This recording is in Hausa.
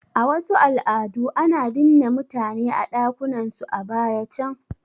A wasu al'adu ana binne mutane a ɗakunan su a baya can